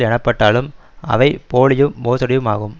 எனப்பட்டாலும் அவை போலியும் மோசடியும் ஆகும்